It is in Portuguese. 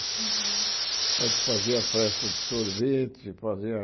A gente fazia a festa de sorvete, fazia...